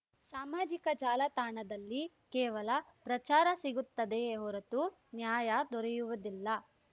ಸಾಮಾಜಿಕ ಜಾಲತಾಣದಲ್ಲಿ ಕೇವಲ ಪ್ರಚಾರ ಸಿಗುತ್ತದೆಯೇ ಹೊರತು ನ್ಯಾಯ ದೊರೆಯುವುದಿಲ್ಲ